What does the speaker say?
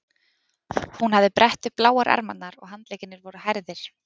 Hún hafði brett upp bláar ermarnar og handleggirnir voru hærðir.